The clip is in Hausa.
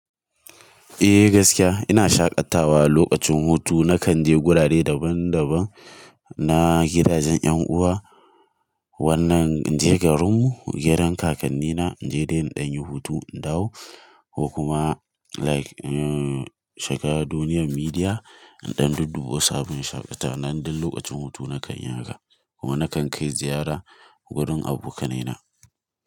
Eh gaskiya ina shaƙatawa lokacin hutu nakan je gurare daban daban na gidajen 'yan uwa, wannan in je garin mu gidan kakan nina, in je dai in ɗan yi hutu in dawo ko kuma like shiga duniyar midiya in ɗan dudduba sabbin shaƙatawa. Nan duk lokacin hutu nakan yi haka kuma nakan kai ziyara wurin abokanai na.